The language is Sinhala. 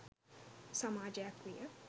සමාජයක් විය.